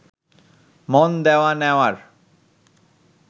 মন দেওয়া নেওয়ার